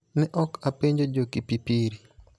Ne ok apenjo jo Kipipiri